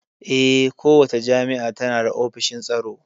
Eh, kowace jami'a tana da ofishin tsaro